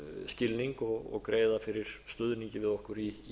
skilning og greiða fyrir stuðningi við okkur í